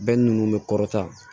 Bɛɛ ninnu bɛ kɔrɔta